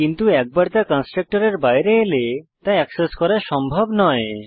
কিন্তু একবার তা কন্সট্রকটরের বাইরে এলে তা এক্সেস করা সম্ভব নয়